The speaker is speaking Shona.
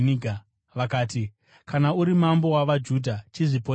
vakati, “Kana uri mambo wavaJudha, chizviponesa.”